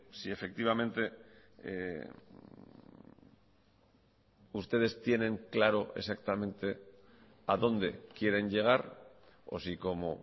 si efectivamente ustedes tienen claro exactamente a dónde quieren llegar o si como